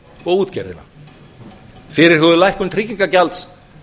og útgerðina fyrirhuguð lækkun tryggingagjalds